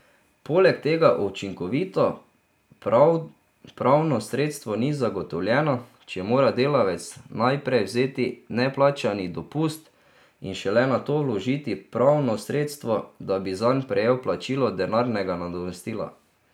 Poleg tega učinkovito pravno sredstvo ni zagotovljeno, če mora delavec najprej vzeti neplačani dopust in šele nato vložiti pravno sredstvo, da bi zanj prejel plačilo denarnega nadomestila.